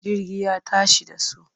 Jirgi ya tashi da su.